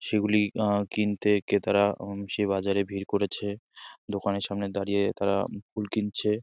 সেগুলি আহ কিনতে ক্রেতারা উম সে বাজারে ভীড় করেছে দোকানের সামনে দাঁড়িয়ে তারা ফুল কিনছে।